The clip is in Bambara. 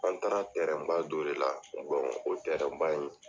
An taara ba dɔ de la o ba in